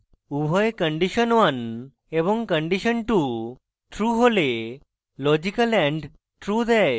উভয় condition1 এবং condition2 true হলে লজিক্যাল and true দেয়